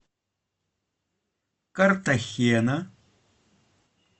картахена